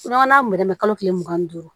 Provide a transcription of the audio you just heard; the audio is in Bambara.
N'a mɛrɛmɛ ko kile mugan ni duuru